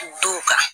Duw kan